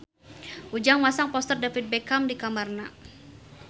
Ujang masang poster David Beckham di kamarna